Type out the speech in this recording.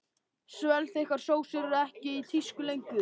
Svellþykkar sósur eru ekki í tísku lengur.